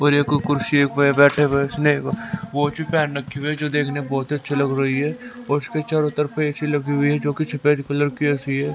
और एक कुर्सी है जो देखने में बहोत अच्छा लग रही है और उसके चारों तरफ ए_सी लगी हुई है जो कि सफेद कलर की की ए_सी है।